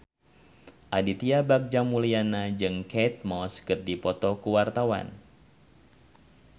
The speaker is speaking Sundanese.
Aditya Bagja Mulyana jeung Kate Moss keur dipoto ku wartawan